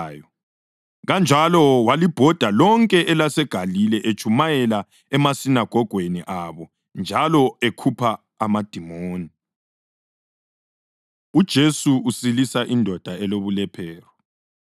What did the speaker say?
Kanjalo walibhoda lonke elaseGalile etshumayela emasinagogweni abo njalo ekhupha amadimoni. UJesu Usilisa Indoda Elobulephero